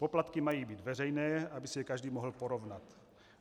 Poplatky mají být veřejné, aby si je každý mohl porovnat.